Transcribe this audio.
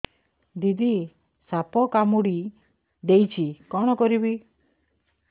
ଦିଦି ସାପ କାମୁଡି ଦେଇଛି କଣ କରିବି